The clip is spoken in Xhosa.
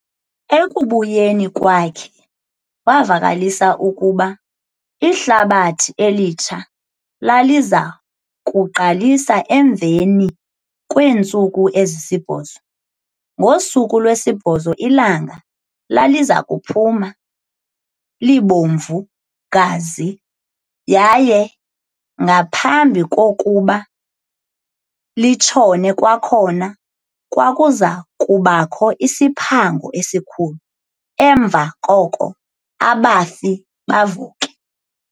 Ekubuyeni kwakhe, wavakalisa ukuba iHlabathi Elitsha laliza kuqalisa emveni kweentsuku ezisibhozo. Ngosuku lwesibhozo ilanga laliza kuphuma, libomvu-gazi, yaye ngaphambi kokuba litshone kwakhona, kwakuza kubakho isiphango esikhulu, emva koko "abafi bavuke".